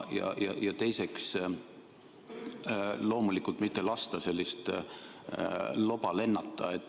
Ja teiseks, loomulikult mitte lasta sellist loba lennata.